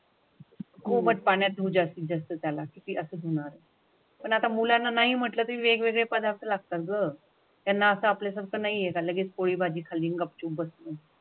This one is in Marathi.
पाण्यात जास्तीत जास्त त्याला किती असणार? पण आता मुलांना नाही म्हटलं तरी वेगवेगळे पदार्थ लागतात. त्यांना आपल्या शकत नाहीये तर लगेच पोळी भाजी खाल्ली गुपचूप बस. हो.